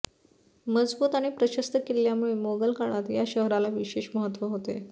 मजबूत आणि प्रशस्त किल्ल्यामुळे मोगल काळात या शहराला विशेष महत्त्व होते